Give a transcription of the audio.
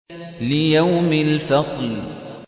لِيَوْمِ الْفَصْلِ